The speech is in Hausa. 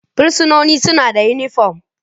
Fursunonin suna da unipom.